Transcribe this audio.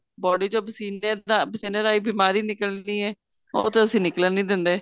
body ਚੋ ਪਸੀਨੇ ਤਾਂ ਪਸੀਨੇ ਰਹੀ ਬਿਮਾਰੀ ਨਿਕਲਨੀ ਏ ਉਹ ਤਾਂ ਅਸੀਂ ਨਿਕਲਣ ਨੀਂ ਦਿੰਦੇ